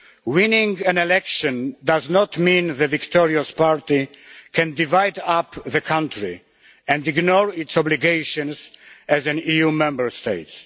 Winning an election does not mean the victorious party can divide up the country and ignore its obligations as an EU Member State.